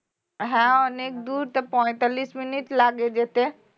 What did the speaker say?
হ্যাঁ অনেক দূর তা পঁয়তাল্লিশ মিনিট লাগে যেতে